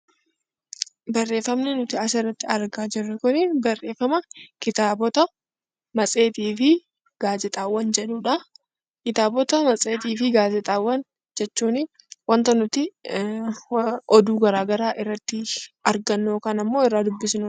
Barreeffamni nuti asirratti argaa jirru Kun barreeffama kitaabota, matseetii fi gaazexaawwan jedhudha. Kitaabota, matseetii fi gaazexaawwan jechuun waanta nuti oduu garaagaraa irratti argannu yookaan irraa dubbisnudha.